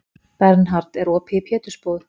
Bernhard, er opið í Pétursbúð?